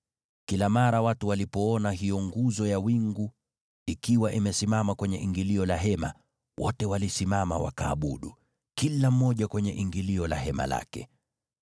Kila mara watu walipoona hiyo nguzo ya wingu ikiwa imesimama kwenye ingilio la hema, wote walisimama wakaabudu, kila mmoja kwenye ingilio la hema lake.